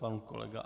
Pan kolega